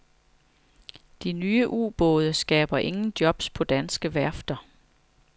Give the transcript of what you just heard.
De nye ubåde skaber ingen jobs på danske værfter.